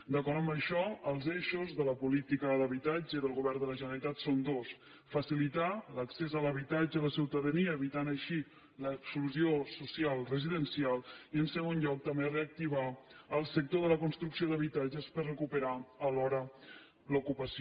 d’acord amb això els eixos de la política d’habitatge del govern de la generalitat són dos facilitar l’accés a l’habitatge a la ciutadania evitant així l’exclusió social residencial i en segon lloc també reactivar el sector de la construcció d’habitatges per recuperar alhora l’ocupació